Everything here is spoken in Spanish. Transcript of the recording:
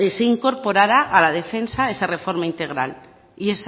se incorporara a la defensa esa reforma integral y